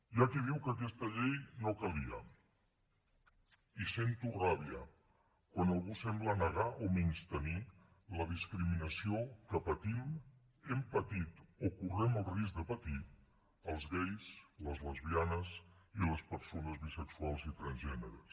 hi ha qui diu que aquesta llei no calia i sento ràbia quan algú sembla negar o menystenir la discriminació que patim hem patit o correm el risc de patir els gais les lesbianes i les persones bisexuals i transgènere